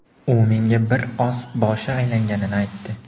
U menga bir oz boshi aylanganini aytdi.